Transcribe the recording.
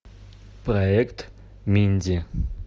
проект минди